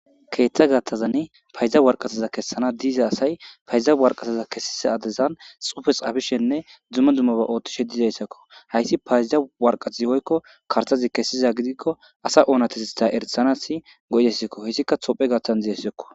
keeththa gaththazani payza worqqasaza kessana diza asay payda warqqasa kesissa addezan tsuufe tsaafishenne dumma dummaba ooththishe dizayssa koo;hayssi payda warqqathi woykko karththazi kessiza gidikko asa oonatetheththaa erissanaassi go7izayssakoo;heyssika toophphe gaththan deesikoo.